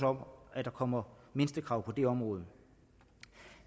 om at der kommer mindstekrav på det område